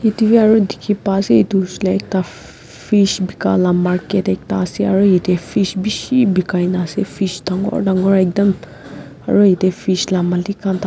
etu bi dekhiba ase etu fhale ffff fish beka la market ekta ase aro yate fish beshi bekaikena fish dangor dangor ekdam aro yete fish la malik.